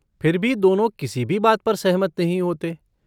फिर भी दोनों किसी भी बात पर सहमत नहीं होते।